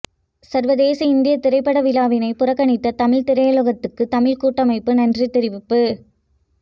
சர்வதேச இந்திய திரைப்பட விழாவினை புறக்கணித்த தமிழ் திரையுலகத்துக்கு தமிழ் கூட்டமைப்பு நன்றி தெரிவிப்பு